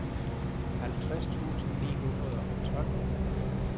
halvtreds tusind ni hundrede og tolv